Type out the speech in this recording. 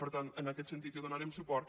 per tant en aquest sentit hi donarem suport